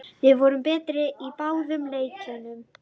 Við vorum betri í báðum leikjunum